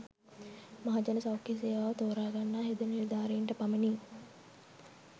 මහජන සෞඛ්‍ය සේවාව තෝරාගන්නා හෙද නිලධාරීන්ට පමණි